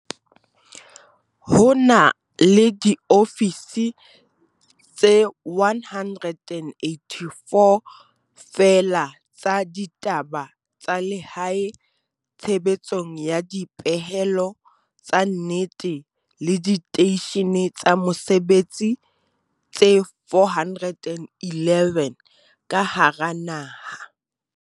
Ho na le diofisi tse 184 feela tsa ditaba tsa lehae tshebetsong ya dipehelo tsa nnete le diteishene tsa mosebetsi tse 411 ka hara naha.